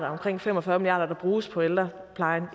omkring fem og fyrre milliard bruges på ældreplejen